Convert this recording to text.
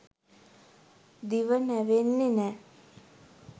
දිව නැවෙන්නෙ නැහැ